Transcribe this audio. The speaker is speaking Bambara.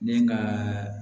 Ne ka